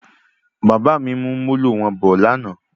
Bàbá mí mú Molo wọn bọ ní àna